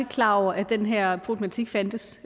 klar over at den her problematik fandtes